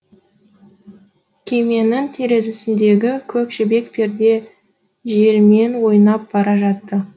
күйменің терезесіндегі көк жібек перде желмен ойнап бара жатты